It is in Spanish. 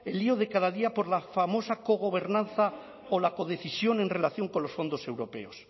lío de cada día por la famosa cogobernanza o la codecisión en relación con los fondos europeos